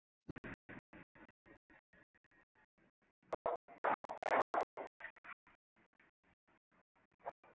Ég þegi líka.